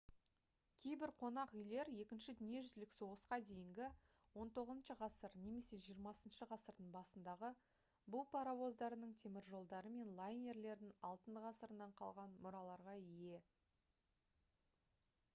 кейбір қонақ үйлер екінші дүниежүзілік соғысқа дейінгі 19-ғасыр немесе 20-ғасырдың басындағы бу паровоздарының теміржолдары мен лайнерлердің алтын ғасырынан қалған мұраларға ие